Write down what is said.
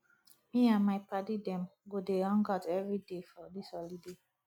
me and my paddy dem go dey hangout everyday for dis holiday